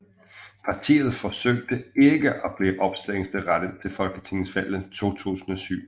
Partiet forsøgte ikke at blive opstillingsberettiget til Folketingsvalget 2007